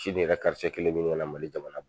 Sini yɛrɛ karice kelen bi ɲini kana Mali jamana bɔ!